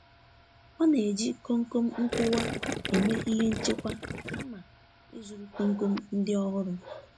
Ọ na-eji komkom nkuwa eme ihe nchekwa kama ị zụrụ komkom ndị ọhụrụ.